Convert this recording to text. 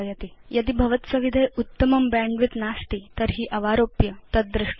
यदि भवत्सविधे उत्तमं बैण्डविड्थ नास्ति तर्हि अवारोप्य तद् द्रष्टुं शक्यम्